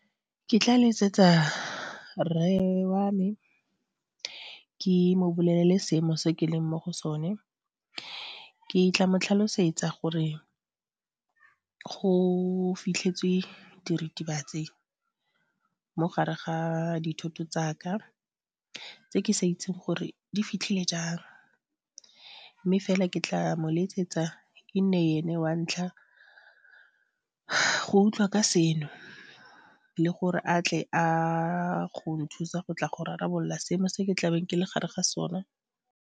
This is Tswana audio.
Ke tla letsetsa rre wa me, ke mo bolelele seemo se ke leng mo go sone, ke tla mo tlhalosetsa gore go fitlhetswe diritibatsi mo gare ga dithoto tsa ka, tseo kesa itseng gore di fitlhile jang, mme fela, ke tla mo letsetsa e nne ene wa ntlha go utlwa ka seno, le gore a tle a go nthusa go tla go rarabolola seno se ke tlabeng ke le gare ga sone.